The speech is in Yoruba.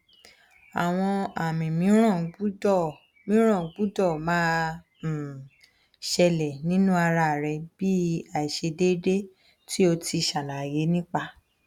awon ami miiran gbudo miiran gbudo ma um sele ninu ara re bi aisedede ti o ti salaye nipa